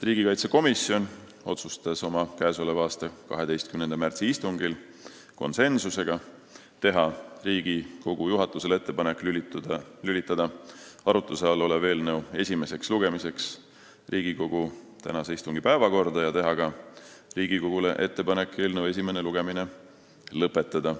Riigikaitsekomisjon otsustas oma k.a 12. märtsi istungil teha Riigikogu juhatusele ettepaneku lülitada arutluse all olev eelnõu esimeseks lugemiseks Riigikogu tänase istungi päevakorda ja teha ka Riigikogule ettepaneku eelnõu esimene lugemine lõpetada.